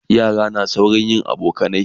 yara na saurin yin abokanai